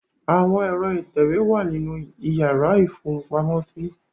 Àwọn ẹ̀rọ ìtẹ̀wé wà nínú ìyàrá ìfohunpamọ́sí.